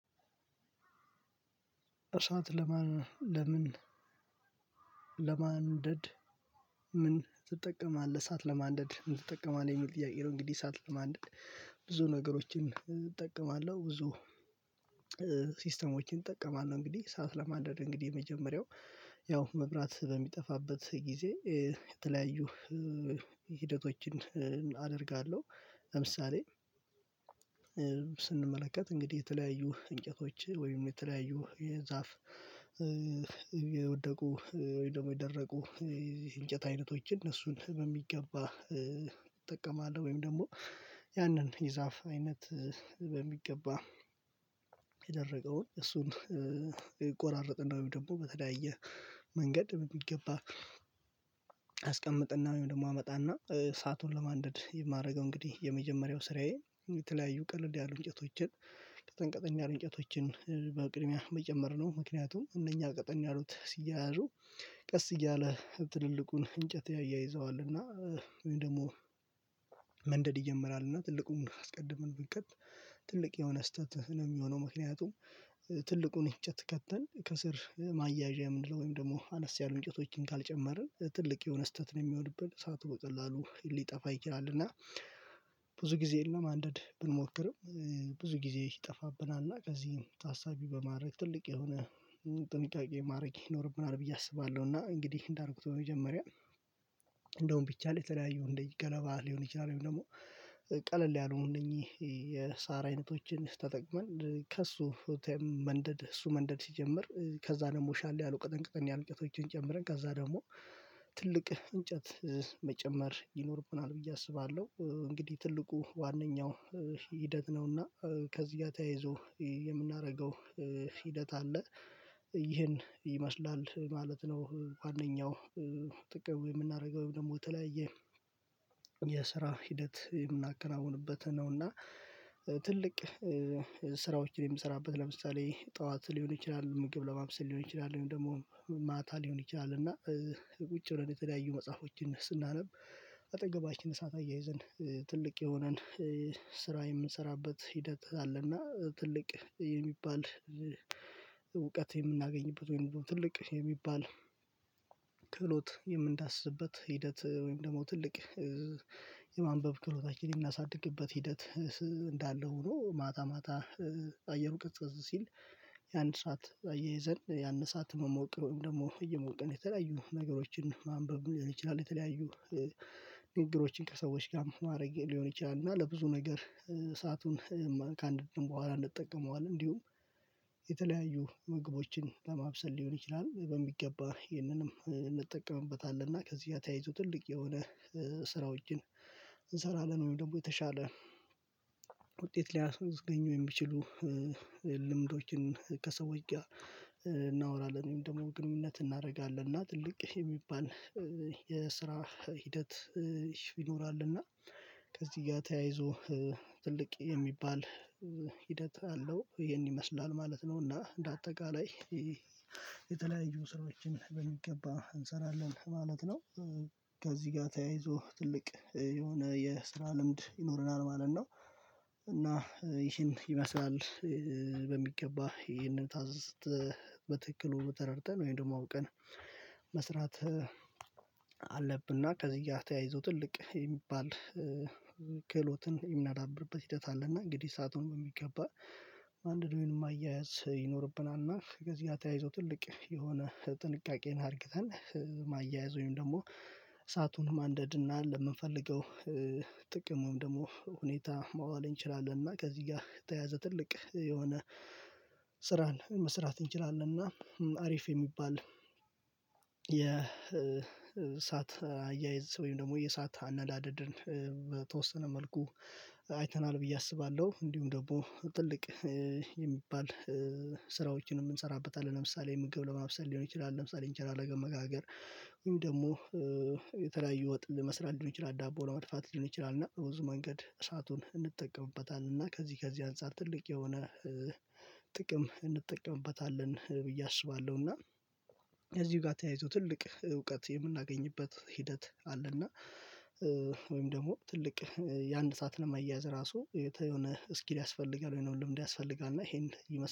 እሳት ለማን ለምን ለማንደድ ትጠቀማለህ እሳት ለማንደድ ምን ትጠቀማለህ የሚል ጥያቄ ነው? እንግዲህ እሳት ለማንደድ ብዙ ነገሮችን እጠቀማለሁ ብዙ ሲስተሞችን እጠቀማለሁ። እንግዲህ እሳት ለማንደድ እንግዲህ የመጀመሪያው ያው መብራት በሚጠፋበት ጊዜ የተለያዩ ሂደቶችን አደርጋለሁ። ለምሳሌ ስንመለከት እንግዲህ የተለያዩ እንጨቶች ወይም የተለያዩ የዛፍ የወደቁ ወይም ደግሞ የደረቁ እንጨት አይነቶች እነሱን በሚገባ እጠቀማለሁ ወይም ደግሞ ያንን የዛፍ አይነት በሚገባ የደረቀውን እሱን ይቆራረጥ እና ወይም ደግሞ በተለያየ መንገድ በሚገባ አስቀምጥና ወይም ደግሞ አመጣና እሳቱን ለማንደድ የማደርገው እንግዲህ የመጀመሪያው ስራዬ የተለያዩ ቀለል ያሉ እንጨቶችን ቀጠን ቀጠን ያሉ እንጨቶችን በቅድሚያ መጨመር ነው። ምክንያቱም እነኛ ቀጠን ያሉት ሲያያዙ ቀስ እያለ ትልልቁን እንጨት ያያይዘዋል እና ወይም ደግሞ መንደድ ይጀምራል። እና ትልቁን አስቀድመን ብንከት ትልቅ የሆነ ስህተት ነው የሚሆነው። ምክንያቱም ትልቁን እንጨት ከተን ከስር ማያያዣ የምንለው ወይም ደግሞ አነስ ያሉ እንጨቶችን ካልጨመርን ትልቅ የሆነ ስህተት ነው የሚሆንብን። እሳቱ በቀላሉ ሊጠፋ ይችላልና እና ብዙ ጊዜ ለማንደድ ብንሞክርም ብዙ ጊዜ ይጠፋብናል እና ከዚህም ታሳቢ በማድረግ ትልቅ የሆነ ጥንቃቄ ማድረግ ይኖርብናል ብዬ አስባለሁ። እና እንግዲህ እንዳልኩት በመጀመርያ ቢቻል የተለያዩ እንደዚህ ገለባ ሊሆን ይችላል። ወይም ደግሞ ቀለል ያሉ እነኚህ የሳር አይነቶችን ተጠቅመን ከእሱ ተም መንደድ እሱ መንደድ ሲጀምር ከዛ ደግሞ ሻል ያለው ቀጥን ቀጥን ያሉ እንጨቶችን ጨምረን ከዛ ደግሞ ትልቅ እንጨት መጨመር ይኖርብናል ብዬ አስባለሁ። እንግዲህ ትልቁ ዋነኛው ሂደት ነውና ከዚህ ጋር ተያይዞ የምናደርገው ሂደት አለ ይሄን ይመስላል ማለት ነው። ዋነኛው ጥቅም የምናደርገው ወይም ደግሞ የተለያየ የስራ ሂደት የምናከናውንበት ነው። እና ትልቅ ስራዎችን የምሰራበት ለምሳሌ ጠዋት ሊሆን ይችላል ምግብ ለማብሰል ሊሆን ይችላል ወይም ደግሞ ማታ ሊሆን ይችላል እና ቁጭ ብለን የተለያዩ መጽሐፎችን ስናነብ አጠገባችን እሳት አያይዘን ትልቅ የሆነን ስራ የምንሰራበት ሂደት አለና ትልቅ የሚባል እውቀት የምናገኝበት ወይም ትልቅ የሚባል ክህሎት የምንዳስስበት ሂደት ወይም ደግሞ ትልቅ የማንበብ ክህሎታችን የምናሳድግበት ሂደት እንዳለ ሆኖ ማታ ማታ አየሩ ቀዝቀዝ ሲል ያን እሳት አያይዘን ያን እሳት መሞቅ ወይም ደግሞ እየሞቅን የተለያዩ ነገሮችን ማንበብ ሊሆን ይችላል። የተለያዩ ንግግሮችን ከሰዎች ጋር ማድረግ ሊሆን ይችላል እና ለብዙ ነገር እሳቱን ከአንድ ቀን በኋላ እንጠቀመዋለን እንዲሁም የተለያዩ ምግቦችን ለማብሰል ሊሆን ይችላል። በሚገባ ይህንንም እንጠቀምበታለን እና ከዚህ ጋር ተያይዞ ትልቅ የሆነ ስራዎችን እንሰራለን ወይም ደግሞ የተሻለ ውጤት ሊያስወዝግኙ የሚችሉ ልምዶችን ከሰዎች ጋር እናወራለን ወይም ደግሞ ግንኙነት እናደርጋለን እና ትልቅ የሚባል የስራ ሂደት ይኖራል። እና ከዚህ ጋር ተያይዞ ትልቅ የሚባል ሂደት አለው ይሄን ይመስላል ማለት ነው። እና እንደ አጠቃላይ የተለያዩ ስራዎችን በሚገባ እንሰራለን ማለት ነው። ከዚህ ጋር ተያይዞ ትልቅ የሆነ የስራ ልምድ ይኖረናል ማለት ነው። እና ይህን ይመስላል በሚገባ ይሄንን ታዝዘን በትክክሉ ተረድተን ወይም ደግሞ አውቀን መስራት አለብና ከዚህ ጋር ተያይዞ ትልቅ የሚባል ክህሎትን የምናዳብርበት ሂደት አለ። እና እንግዲህ እሳቱን በሚገባ አንድዶ ማያያዝ ይኖርብናል እና ከዚህ ጋር ተያይዞ ትልቅ የሆነ ጥንቃቄን አድርግተን ማያያዝ ወይም ደግሞ እሳቱን ማንደድ እና ለምንፈልገው ጥቅሙን ደግሞ ሁኔታ ማዋል እንችላለን። እና ከዚህ ጋር የተያዘ ትልቅ የሆነ ስራን መስራት እንችላለን። እና አሪፍ የሚባል የእሳት አያይዝ ወይም ደግሞ የእሳት አነዳደድን በተወሰነ መልኩ አይተናል ብዬ አስባለሁ። እንዲሁም ደግሞ ትልቅ የሚባል ስራዎችንም እንሰራበታለን ለምሳሌ ምግብ ለማብሰል ሊሆን ይችላል ለምሳሌ እንጀራ ለመጋገር ወይም ደግሞ የተለያዩ ወጥ ለመስራት ሊሆን ይችላል ዳቦ ለመድፋት ሊሆን ይችላል እና በብዙ መንገድ እሳቱን እንጠቀምበታለን እና ከዚህ ከዚህ አንፃር ትልቅ የሆነ ጥቅም እንጠቀምበታለን ብዬ አስባለሁ። እና ከዚሁ ጋር ተያይዞ ትልቅ እውቀት የምናገኝበት ሂደት አለና ወይም ደግሞ ትልቅ ያን እሳት ለማይያዝ ራሱ የተ የሆነ እስኪል ያስፈልጋል ወይንም ልምድ ያስፈልጋል እና ይሄን ይመስላል